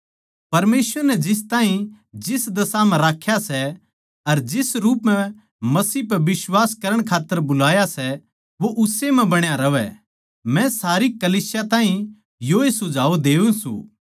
परमेसवर नै जिस ताहीं जिस दशा म्ह राख्या सै अर जिस रूप म्ह मसीह पै बिश्वास करण खात्तर बुलाया सै वो उस्से म्ह बण्या रहवै मै सारी कलीसियां ताहीं योए सुझाव देऊँ सूं